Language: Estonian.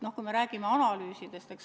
Me räägime analüüsidest.